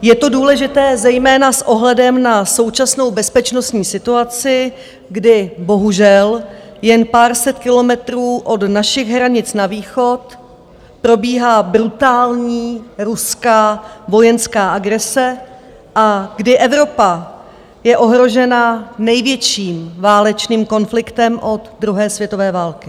Je to důležité zejména s ohledem na současnou bezpečnostní situaci, kdy bohužel jen pár set kilometrů od našich hranic na východ probíhá brutální ruská vojenská agrese a kdy Evropa je ohrožena největším válečným konfliktem od druhé světové války.